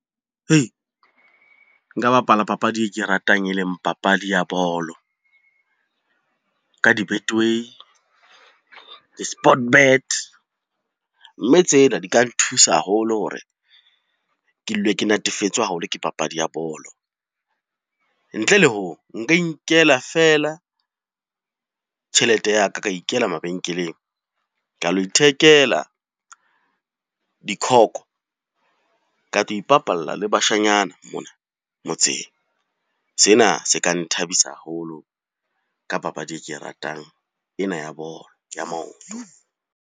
Hei, nka bapala papadi e ke ratang e leng papadi ya bolo. Ka di-Betway, di-Sportbet, mme tsena di ka nthusa haholo hore ke dule ke natefetswe haholo ke papadi ya bolo, ntle le hoo, nka inkela fela tjhelete ya ka ka ikela mabenkeleng ka lo ithekela dikhoko, ka tlo ipapalla le bashanyana mona motseng. Sena se ka nthabisa haholo ka papadi e ke e ratang ena ya bolo ya maoto.